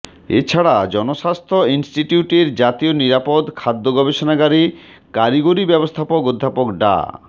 এছাড়া জনস্বাস্থ্য ইনস্টিটিউটের জাতীয় নিরাপদ খাদ্য গবেষণাগারের কারিগরি ব্যবস্থাপক অধ্যাপক ডা